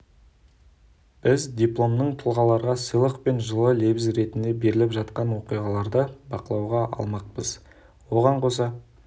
біз дипломның танымал тұлғаларға сыйлық пен жылы лебіз ретінде беріліп жатқан оқиғаларды бақылауға алмақпыз оған қоса